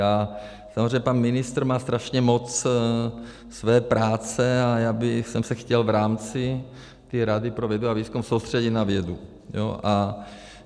A samozřejmě pan ministr má strašně moc své práce, a já bych se chtěl v rámci té Rady pro vědu výzkum soustředit na vědu.